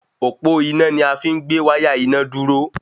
Òpó iná ni afi n gbé wáyà iná dúró